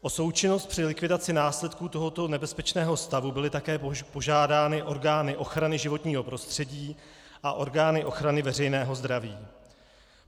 O součinnost při likvidaci následků tohoto nebezpečného stavu byly také požádány orgány ochrany životního prostředí a orgány ochrany veřejného zdraví.